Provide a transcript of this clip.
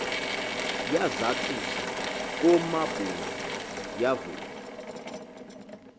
yazathuza koomabunga yavul